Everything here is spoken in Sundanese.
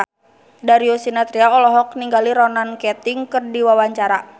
Darius Sinathrya olohok ningali Ronan Keating keur diwawancara